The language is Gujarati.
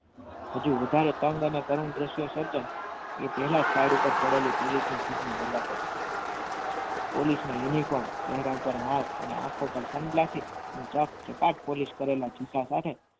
હજી વધારે તંગ અને કરુણ દ્રશ્ય સર્જન એ પહેલાં જ side ઉપર પડેલી police ની jeep નું દરવાજો police નો uniform એના ઉપર mask અને આંખો ઉપર sun glasses ચકાટ polish કરેલા જુદા કાઢ્યા.